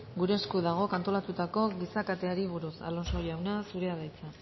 gure esku dagok antolatutako giza kateari buruz alonso jauna zurea da hitza